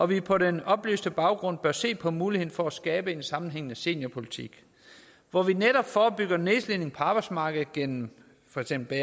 vi på den oplyste baggrund bør se på muligheden for at skabe en sammenhængende seniorpolitik hvor vi netop forebygger nedslidning på arbejdsmarkedet gennem for eksempel